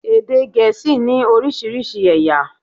Èdè Gèésì ní oriísirísi ẹ̀yà